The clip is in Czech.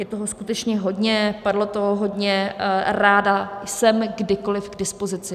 Je toho skutečně hodně, padlo toho hodně, ráda jsem kdykoliv k dispozici.